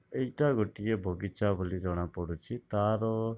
ଏଇଟା ଗୋଟିଏ ବଗିଚା ବୋଲି ଜଣା ପଡୁଚି ତାର --